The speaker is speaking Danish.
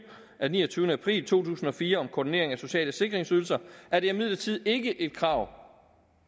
af niogtyvende april to tusind og fire om koordinering af sociale sikringsydelser er det imidlertid ikke et krav